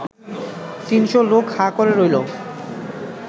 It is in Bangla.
তিনশো লোক হাঁ করে রইল